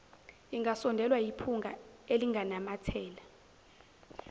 ingasondelwa yiphunga elinganamathela